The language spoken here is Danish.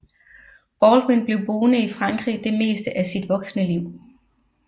Baldwin blev boende i Frankrig det meste af sit voksenliv